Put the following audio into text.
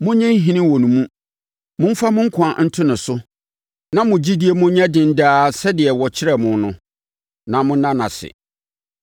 Monnye nhini wɔ ne mu; momfa mo nkwa nto ne so na mo gyidie mu nyɛ den daa sɛdeɛ wɔkyerɛɛ mo no, na monna no ase.